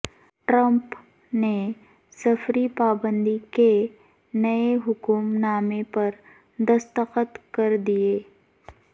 Trump نے سفری پابندی کے نئے حکم نامے پر دستخط کر دیے